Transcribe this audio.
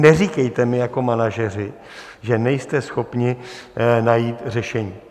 Neříkejte mi jako manažeři, že nejste schopni najít řešení.